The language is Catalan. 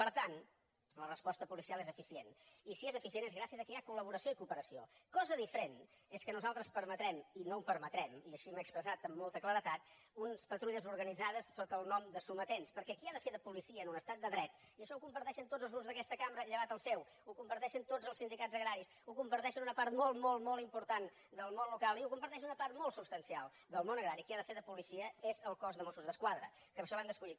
per tant la resposta policial és eficient i si és eficient és gràcies al fet que hi ha collaboració i cooperació cosa diferent és que nosaltres permetem i no ho permetrem i així m’he expressat amb molta claredat unes patrulles organitzades sota el nom de sometents perquè qui ha de fer de policia en un estat de dret i això ho comparteixen tots els grups d’aquesta cambra llevat del seu ho comparteixen tots els sindicats agraris ho comparteix una part molt molt molt important del món local i ho comparteix una part molt substancial del món agrari és el cos de mossos d’esquadra que per això l’hem escollit